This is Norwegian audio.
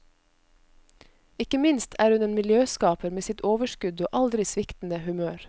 Ikke minst er hun en miljøskaper med sitt overskudd og aldri sviktende humør.